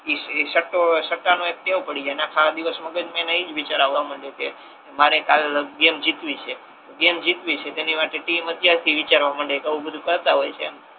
એ સટ્ટો સટ્ટા નો એક ટેવ પડી જાય ને આખા દિવસ મગજ મા એને એજ વિચાર આવતા હોય કે મારે કાલે ગેમ જીતવી છે ગેમ જીતવી છે તેની માટે ટીમ અત્યાર થી વિચારવા માંડે અને આવુ બધુ કરતા હોય છે